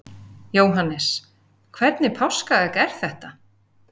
Jóhannes: Hvernig páskaegg er þetta?